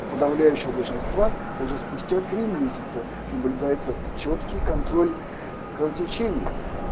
у подавляющего большинства уже спустя три месяца наблюдается чёткий контроль кровотечений